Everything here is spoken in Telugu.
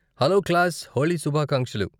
హలో క్లాస్, హోళీ శుభాకాంక్షలు.